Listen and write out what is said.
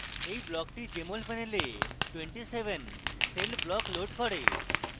এই বিকল্পটি jmol panel 27 cell block loads করে